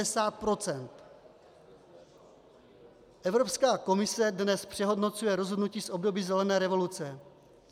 Evropská komise dnes přehodnocuje rozhodnutí z období zelené revoluce.